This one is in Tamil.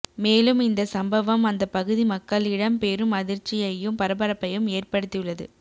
மேலும் இந்த சம்பவம் அந்த பகுதி மக்களிடம் பெரும் அதிர்ச்சியையும் பரபரப்பையும் ஏற்படுத்தியுள்ளது